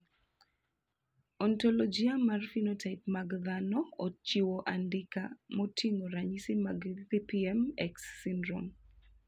Ontologia mar phenotype mag dhano ochiwo andika moting`o ranyisi mag PPM X syndrome.